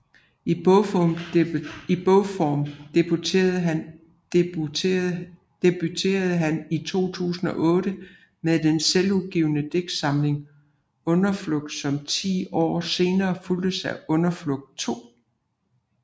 I bogform debuterede han 2008 med den selvudgivne digtsamling Underflugt som ti år senere fulgtes af Underflugt II